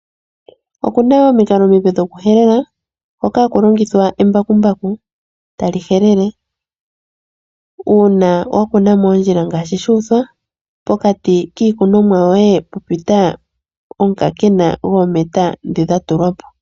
Oku na omikalo omipe dhokuhelela moka hamu longithwa embakumbaku tali helele uuna wa kuna moondjila ngaashi shu uthwa, pokati kiikunomwa yoye pwa pita omukaakena goometa ndhi dha tulwa po.